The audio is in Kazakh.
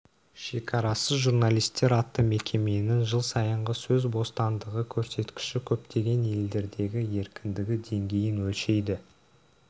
шекарасыз журналистер атты мекеменің жыл сайынғы сөз бостандығы көрсеткіші көптеген елдердегі еркіндігі деңгейін өлшейді